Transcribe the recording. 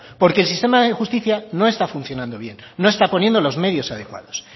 porque el sistema de justicia no está funcionando bien no está poniendo los medios adecuados